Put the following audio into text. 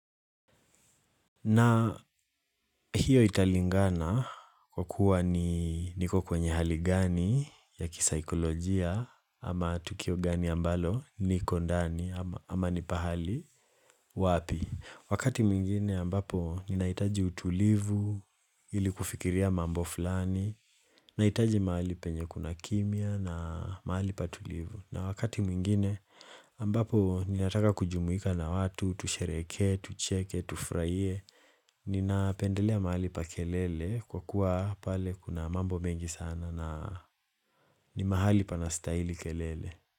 Na hiyo italingana kwa kuwa ni niko kwenye hali gani ya kisaikolojia ama tukio gani ambalo niko ndani ama ni pahali wapi. Wakati mwingine ambapo ninahitaji utulivu ili kufikiria mambo fulani, nahitaji mahali penye kuna kimya na mahali patulivu. Na wakati mwingine ambapo ninataka kujumuika na watu, tusherehekee, tucheke, tufurahie Ninapendelea mahali pa kelele kwa kuwa pale kuna mambo mengi sana na ni mahali pana stahili kelele.